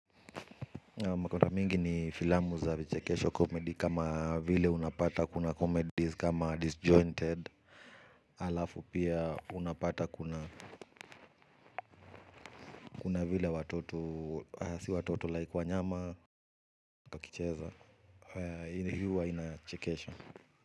Makota mingi ni filamu za vichekesho comedy kama vile unapata kuna comedies kama disjointed. Alafu pia unapata kuna vile watoto si watoto like wanyama wakicheza hali hii huwa inachekesha.